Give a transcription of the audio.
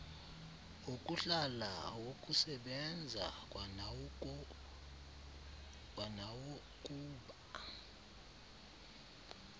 okuhlala awokusebenza kwanawokuba